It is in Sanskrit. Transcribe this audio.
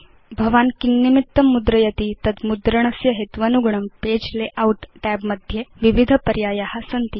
भवान् किन्निमितं मुद्रयति तत् मुद्रणस्य हेत्वनुगुणं पगे लेआउट tab मध्ये विविध पर्याया सन्ति